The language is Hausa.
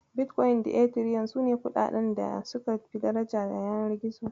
Bitkoyin da Etiriyom sune kuɗaɗan da suka fi daraja na yanar gizo.